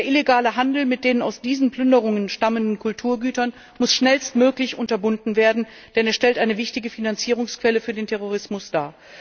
Der illegale Handel mit den aus diesen Plünderungen stammenden Kulturgütern muss schnellstmöglich unterbunden werden, denn er stellt eine wichtige Finanzierungsquelle für den Terrorismus dar.